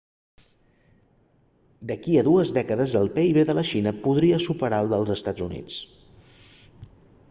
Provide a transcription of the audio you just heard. d'aquí a dues dècades el pib de la xina podria superar el dels estats units